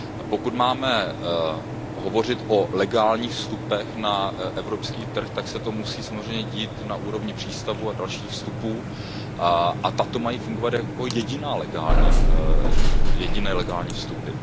Pokud máme hovořit o legálních vstupech na evropský trh, tak se to musí samozřejmě dít na úrovni přístavů a dalších vstupů a ty mají fungovat jako jediné legální vstupy.